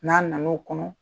N'a nan'o kɔnɔ